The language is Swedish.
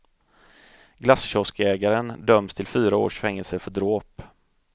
Glasskioskägaren döms till fyra års fängelse för dråp.